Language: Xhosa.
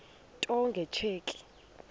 into nge tsheki